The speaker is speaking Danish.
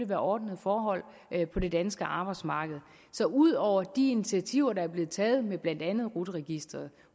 være ordnede forhold på det danske arbejdsmarked så ud over de initiativer der er blevet taget med blandt andet rut registeret